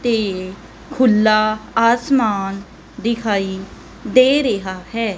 ਤੇ ਖੁੱਲਾ ਅਸਮਾਨ ਦਿਖਾਈ ਦੇ ਰਿਹਾ ਹੈ।